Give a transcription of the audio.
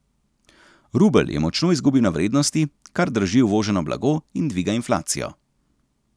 Rubelj je močno izgubil na vrednosti, kar draži uvoženo blago in dviga inflacijo.